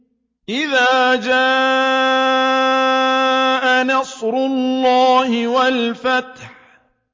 إِذَا جَاءَ نَصْرُ اللَّهِ وَالْفَتْحُ